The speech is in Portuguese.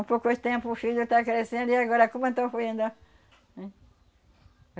Um pouco de tempo o filho já tá crescendo e agora como, oh? Hein,